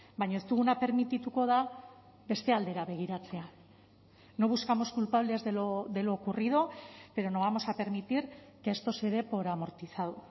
baina ez duguna permitituko da beste aldera begiratzea no buscamos culpables de lo ocurrido pero no vamos a permitir que esto se dé por amortizado